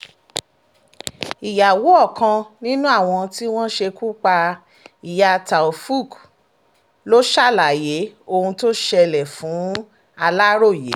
ìyàwó ọkàn nínú àwọn tí wọ́n ṣekú pa ìyá taofooq ló ṣàlàyé ohun tó ṣẹlẹ̀ fún aláròye